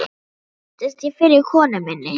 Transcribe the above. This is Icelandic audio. Þar kynntist ég fyrri konu minni